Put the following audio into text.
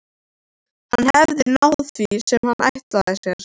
Hann hafði náð því sem hann ætlaði sér.